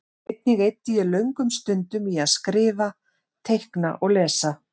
Einnig eyddi ég löngum stundum í að skrifa, teikna og lesa.